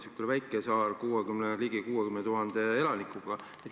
See on väike saar ligi 60 000 elanikuga.